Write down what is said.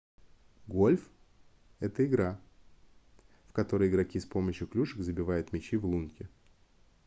гольф это игра в которой игроки с помощью клюшек забивают мячи в лунки